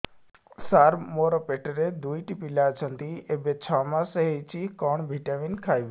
ସାର ମୋର ପେଟରେ ଦୁଇଟି ପିଲା ଅଛନ୍ତି ଏବେ ଛଅ ମାସ ହେଇଛି କଣ ଭିଟାମିନ ଖାଇବି